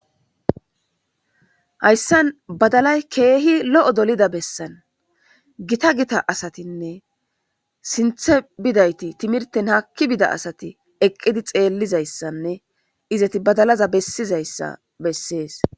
hayssan badalay keehi lo7o dolida bessan gita gita asatinne sinthe bidayti timirten hakki bida asati eqqidi xeellizayssanne izeti badalaza bessizayssa bessees